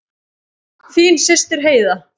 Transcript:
Þín systir Heiða.